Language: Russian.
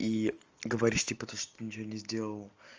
и говоришь типа то что ты ничего не сделал